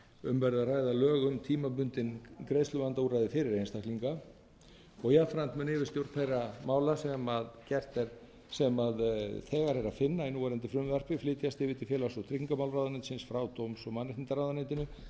um verði að ræða lög um tímabundin greiðsluvandaúrræði fyrir einstaklinga og jafnframt mun yfirstjórn þeirra mála sem þegar er að finna í núverandi frumvarpi flytjast yfir til félags og tryggingamálaráðuneytisins frá dóms og mannréttindaráðuneytinu í